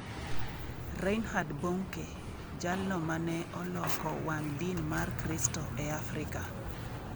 Reinhard Bonke: Jalno mane oloko wang' din mar Kristo e Afrika